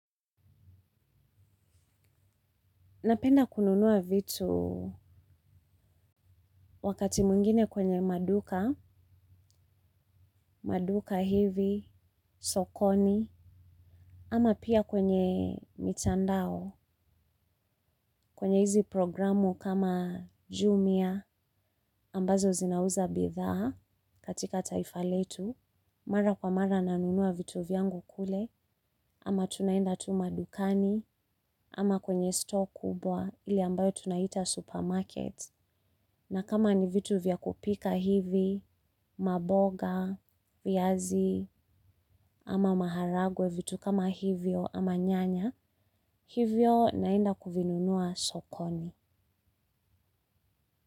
Napenda kununuwa vitu wakati mungine kwenye maduka, maduka hivi, sokoni, ama pia kwenye mitandao, kwenye hizi programu kama jumia ambazo zinauza bidhaa katika taifa letu. Mara kwa mara nanunua vitu vyangu kule, ama tunaenda tu madukani, ama kwenye store kubwa ile ambayo tunaita supermarket. Na kama ni vitu vya kupika hivi, maboga, viazi, ama maharagwe vitu kama hivyo, ama nyanya, hivyo naenda kuvinunua sokoni.